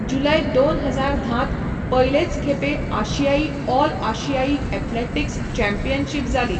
जुलय दोन हजार धांत पयलेच खेपे आशियाई ऑल आशियाई एथलेटिक्स चॅम्पियनशीप जाली.